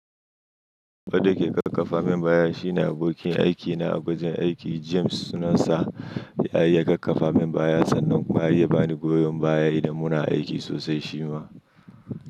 Wanda yake kakkafa min baya shine abokin aikina a wajen aiki. James suna sa ya iya kakkafa min baya sannan kuma ya bani goyon baya idan muna aiki sosai shi ma.